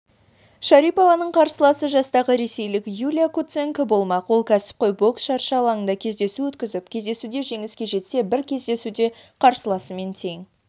шарипованың қарсыласы жастағы ресейлік юлия куценко болмақ ол кәсіпқой бокс шаршы алаңында кездесу өткізіп кездесуде жеңіске жетсе бір кездесуде қарсыласымен тең